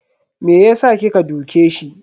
Me yasa kika duke shi?